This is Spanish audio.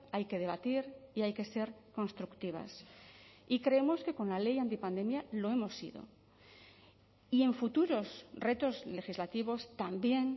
hay que debatir y hay que ser constructivas y creemos que con la ley anti pandemia lo hemos sido y en futuros retos legislativos también